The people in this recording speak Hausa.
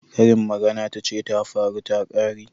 Karin magana tace tafaru takare.